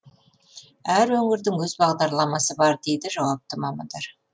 әр өңірдің өз бағдарламасы бар дейді жауапты мамандар